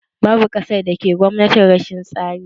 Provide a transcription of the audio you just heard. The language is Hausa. Babu ƙasar da ke Gwamnatin rashin tsari